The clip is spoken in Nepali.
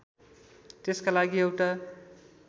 त्यसका लागि एउटा